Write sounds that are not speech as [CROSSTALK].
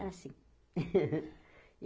Era assim. [LAUGHS]